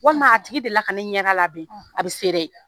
Walima a tigi delila ka ne ɲɛda labɛn, a bɛ se dɛ